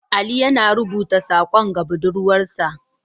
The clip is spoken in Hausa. Ali yana rubuta sakon ga budurwarsa.